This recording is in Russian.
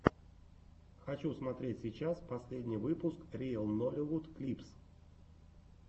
хочу смотреть сейчас последний выпуск риэл нолливуд клипс